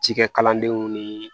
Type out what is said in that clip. Cikɛ kalandenw ni